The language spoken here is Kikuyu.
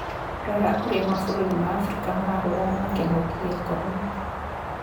Rora uria mabũrũri ma Afrika marahũrana na kĩngũki kia corona